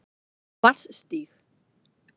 Vatnsstíg